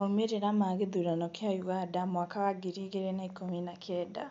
Maumiria ma githurano kia ũganda mwaka wa ngiri igiri na ikumi na kenda